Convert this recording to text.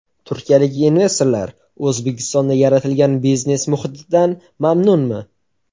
Turkiyalik investorlar O‘zbekistonda yaratilgan biznes muhitidan mamnunmi?.